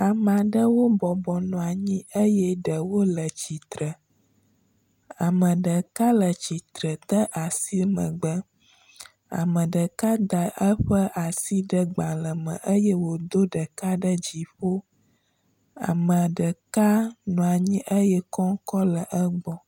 Ama ɖewo bɔbɔnɔa nyi eye ɖewo le tsitre, ame ɖeka le tsitre de asi megbe, ame ɖeka da eƒe asi ɖe gbalẽ me eye wòdo ɖeka ɖe dziƒo. Ame ɖeka nɔa nyi eye kɔŋkɔ le egbɔ.